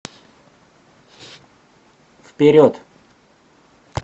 вперед